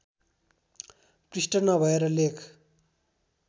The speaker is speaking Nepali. पृष्ठ नभएर लेख